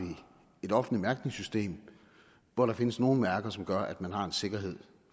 et offentligt mærkningssystem hvor der findes nogle mærker som gør at man har en sikkerhed